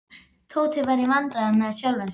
Tóti var í vandræðum með sjálfan sig.